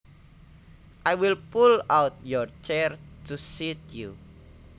I will pull out your chair to seat you